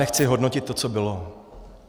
Nechci hodnotit to, co bylo.